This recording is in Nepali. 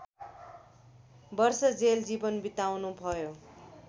वर्ष जेल जीवन बिताउनुभयो